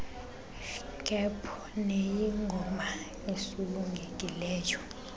kaap neyingoma esulungekileyo